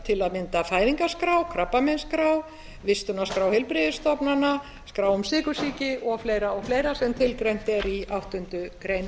til að mynda fæðingarskrá krabbameinsskrá vistunarskrá heilbrigðisstofnana skrá um sykursýki og fleira og fleira sem tilgreint er í áttundu grein